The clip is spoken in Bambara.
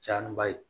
Caya ni ba ye